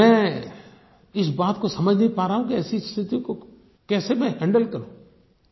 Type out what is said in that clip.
अब मैं इस बात को समझ नहीं पा रहा हूँ कि ऐसी स्थिति को कैसे मैं हैंडल करूँ